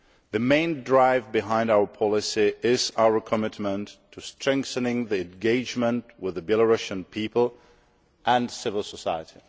The main drive behind our policy is our commitment to strengthening engagement with the Belarusian people and civil society.